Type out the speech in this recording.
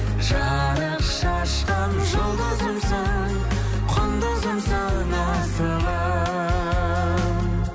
жарық шашқан жұлдызымсың құндызымсың асылым